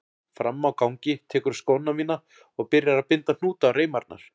Frammi á gangi tekurðu skóna mína og byrjar að binda hnúta á reimarnar.